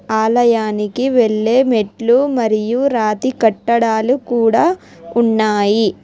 ఆలయానికి వెల్లే మెట్లు మరియు రాతి కట్టడాలు కూడ ఉన్నాయి.